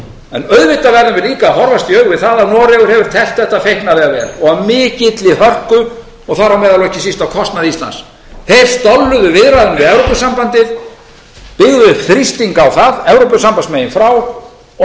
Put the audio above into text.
en auðvitað verðum við líka að horfast í augu við það að noregur hefur teflt þetta feiknarlega vel og af mikilli hörku og þar á meðal og ekki síst á kostnað íslands þeir viðræðum við evrópusambandið byggðu upp þrýsting á það evrópusambandsmegin frá og